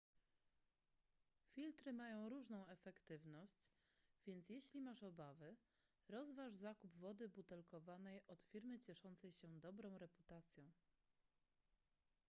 filtry mają różną efektywność więc jeśli masz obawy rozważ zakup wody butelkowanej od firmy cieszącej się dobrą reputacją